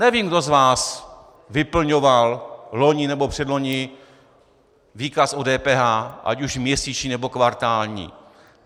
Nevím, kdo z vás vyplňoval loni nebo předloni výkaz o DPH, ať už měsíční, nebo kvartální.